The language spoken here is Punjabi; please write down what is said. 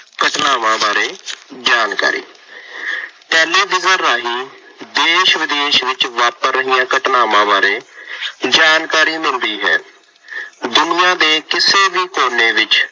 ਘਟਨਾਵਾਂ ਬਾਰੇ ਜਾਣਕਾਰੀ। ਟੈਲੀਵਿਜ਼ਨ ਰਾਹੀ ਦੇਸ਼ ਵਿਦੇਸ਼ ਵਿੱਚ ਵਾਪਰ ਰਹੀਆਂ ਘਟਨਾਵਾ ਬਾਰੇ ਜਾਣਕਾਰੀ ਮਿਲਦੀ ਹੈ। ਦੁਨੀਆ ਦੇ ਕਿਸੇ ਵੀ ਕੋਨੇ ਵਿੱਚ